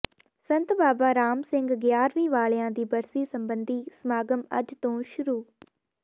ਸੰਤ ਬਾਬਾ ਰਾਮ ਸਿੰਘ ਗਿਆਰ੍ਹਵੀਂ ਵਾਲਿਆਂ ਦੀ ਬਰਸੀ ਸਬੰਧੀ ਸਮਾਗਮ ਅੱਜ ਤੋਂ ਸ਼ੁਰੂ